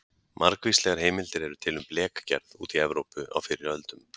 Margvíslegar heimildir eru til um blekgerð úti í Evrópu á fyrri öldum.